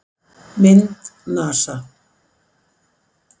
Mynd: NASA